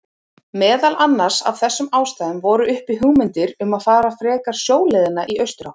Meðal annars af þessum ástæðum voru uppi hugmyndir um að fara frekar sjóleiðina í austurátt.